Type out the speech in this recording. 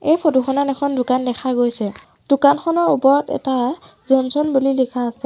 এই ফটো খনত এখন দোকান দেখা গৈছে দোকানখনৰ ওপৰত এটা জনছন বুলি লিখা আছে।